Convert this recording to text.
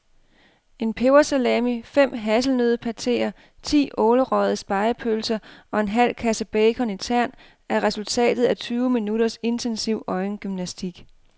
En pebersalami, fem hasselnøddepateer, ti ålerøgede spegepølser og en halv kasse bacon i tern er resultatet af tyve minutters intensiv øjengymnastik.